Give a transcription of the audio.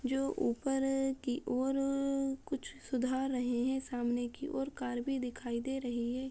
जो ऊपर की ओर कुछ सुधार रहे हैं। सामने की और कार भी दिखाई दे रही है।